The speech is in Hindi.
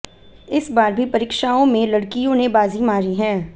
इस बार भी परीक्षओं में लड़कियों ने बाजी मारी है